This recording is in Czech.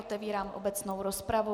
Otevírám obecnou rozpravu.